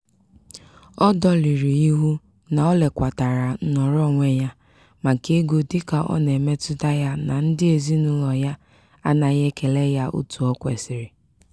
ọ dọlịrị ịhụ na o lekwatara nnọrọonwe ya maka ego dịka ọ na-emetụta ya na ndị ezinaụlọ ya anaghị ekele ya otu o kwesiri.